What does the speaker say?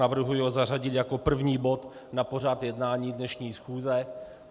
Navrhuji ho zařadit jako první bod na pořad jednání dnešní schůze.